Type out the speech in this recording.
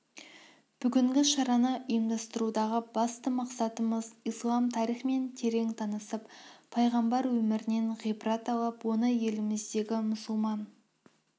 бүгінгі шараны ұйымдастырудағы басты мақсатымыз ислам тарихымен терең танысып пайғамбар өмірінен ғибрат алып оны еліміздегі мұсылман